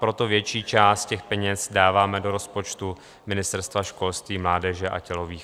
Proto větší část těch peněz dáváme do rozpočtu Ministerstva školství, mládeže a tělovýchovy.